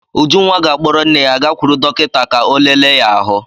Ujunwa ga-akpọrọ nne ya gakwuru dọkịta ka ọ lele ya ahụ.